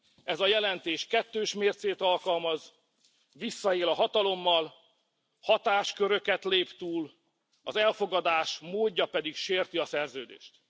Ez a jelentés kettős mércét alkalmaz, visszaél a hatalommal, hatásköröket lép túl, az elfogadás módja pedig sérti a szerződést.